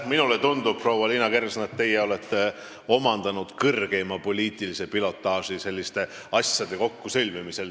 Minule tundub, proua Liina Kersna, et te olete omandanud kõrgeima poliitilise pilotaaži selliste asjade kokkusõlmimisel.